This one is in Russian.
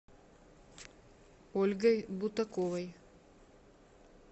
ольгой бутаковой